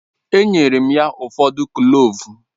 Enyere m ya ụfọdụ Kloovu